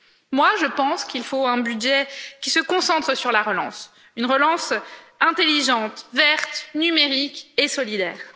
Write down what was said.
Personnellement, je pense qu'il faut un budget qui se concentre sur la relance, une relance intelligente, verte, numérique et solidaire.